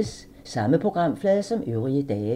Samme programflade som øvrige dage